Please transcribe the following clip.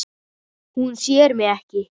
Hún sér mig ekki.